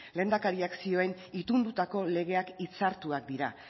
lehendakariak zioen itundutako legeak hitzartuak dira